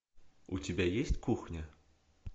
у тебя есть кухня